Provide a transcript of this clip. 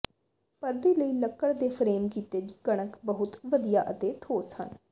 ਪਰਦੇ ਲਈ ਲੱਕੜ ਦੇ ਫਰੇਮ ਕੀਤੇ ਕਣਕ ਬਹੁਤ ਵਧੀਆ ਅਤੇ ਠੋਸ ਹਨ